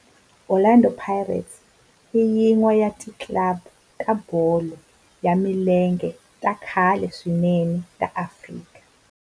Orlando Pirates i yin'wana ya ti club ta bolo ya milenge ta khale swinene ta Afrika.